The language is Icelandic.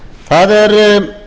það er